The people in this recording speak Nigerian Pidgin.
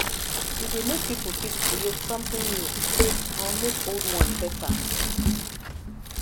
e dey make pipo fit create something new or make old one better